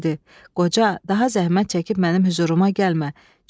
Dedi: "Qoca, daha zəhmət çəkib mənim hüzuruma gəlmə.